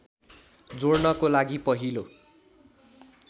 जोड्नको लागि पहिलो